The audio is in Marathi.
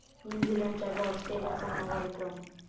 न्यूझीलंडच्या रॉस टेलरचा नवा विक्रम